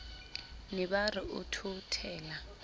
ne ba re o thothela